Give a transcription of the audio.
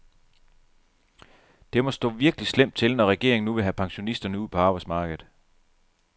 Det må stå virkelig slemt til, når regeringen nu vil have pensionisterne ud på arbejdsmarkedet.